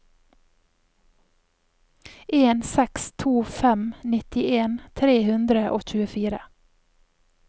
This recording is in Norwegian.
en seks to fem nittien tre hundre og tjuefire